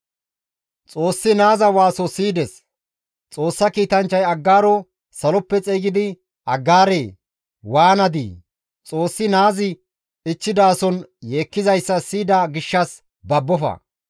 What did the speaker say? Xoossi naaza waaso siyides; saloppe Xoossa kiitanchchay Aggaaro xeygidi, «Aggaaree! Waanadii? Xoossi naazi ichchidason yeekkizayssa siyida gishshas babbofa;